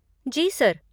जी, sir.